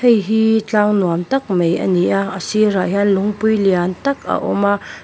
heihi tlang nuam tak mai a ni a a sirah hian lungpui lian tak a awm a.